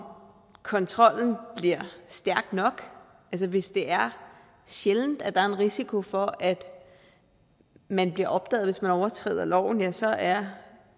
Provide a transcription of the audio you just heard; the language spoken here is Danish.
kontrollen bliver stærk nok altså hvis det er sjældent at der er en risiko for at man bliver opdaget hvis man overtræder loven ja så er